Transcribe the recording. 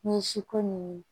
Ni si ko ni